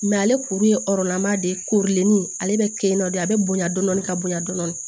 ale kuru ye de korilen ale bɛ kɛ de a bɛ bonya dɔɔni ka bonya dɔɔni